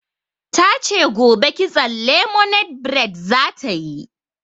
Ta ce gobe kitson lemonade bred za ta yi.